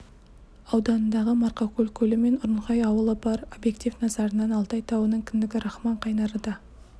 ауданындағы марқакөл көлі мен ұрынхай ауылы бар объектив назарынан алтай тауының кіндігі рахман қайнары да